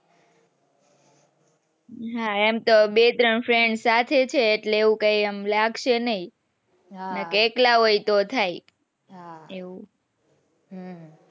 હા એમ તો બે ત્રણ friends છે એટલે એવું કઈ આમ લાગશે નાઈ બાકી એકલા હોય તો થાય આહ હમ